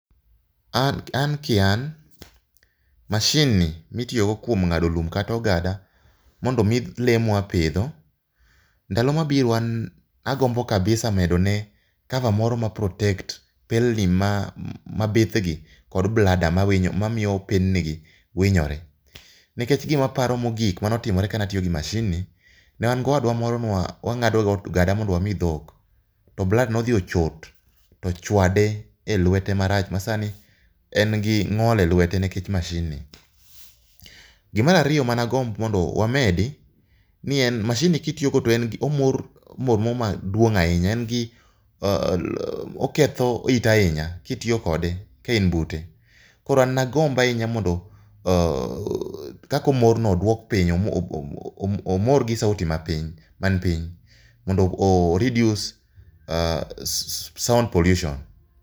An kian machine ni mitiyo go kuom ng'ado lum kata ogada mondo omii lee mwapidho ndalo mabiro an agombo kabisa medo ne cover moro maprotekt pelni mapidh gi kod bladder mamiyo pelni ni gi winyore nikech gimaparo mogik manotimore kanatiyo gi machine newangi owadwa moro newangado go ogada mondo wami dhok to bladder ni nodhi ochot tochwade e lwete marach masani en gi ngol e lwete nikech machine ni. Gimarariyo managomb mondo wamedi ni en ni machine ni kitiyo godo tomor mor moro maduong ahinya en gi oketho it ahinya kitiyo kode ka in bute koro an nagomb ahinya mondo kaka omor no odwok piny, omor gi sauti man piny mondo oreduce sound pollution.